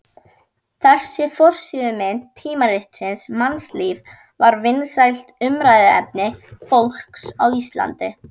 Þessi forsíðumynd tímaritsins Mannlífs var vinsælt umræðuefni fólks á Íslandi.